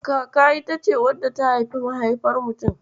Kaka ita ce wadda ta haifi mahaifar mutum.